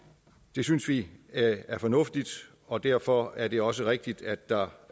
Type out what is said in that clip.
det synes vi er fornuftigt og derfor er det også rigtigt at der